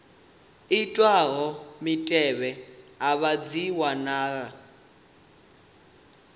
itwaho mutevhe afha dzi wanala